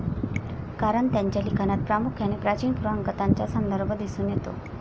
कारण त्यांच्या लिखाणात प्रामुख्याने प्राचीन पुराण कथांचा संदर्भ दिसून येतो.